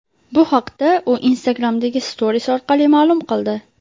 Bu haqda u Instagram’dagi Stories orqali ma’lum qildi.